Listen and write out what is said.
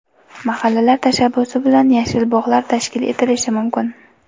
Mahallalar tashabbusi bilan yashil bog‘lar tashkil etilishi mumkin.